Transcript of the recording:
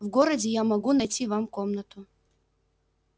в городе я могу найти вам комнату